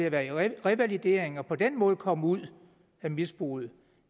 at være i revalidering og på den måde komme ud af misbruget